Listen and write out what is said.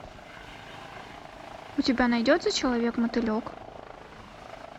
у тебя найдется человек мотылек